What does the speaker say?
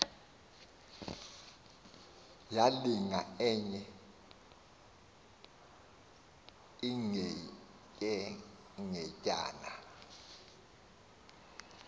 yalinga enye ingetyengetyana